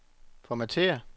formatér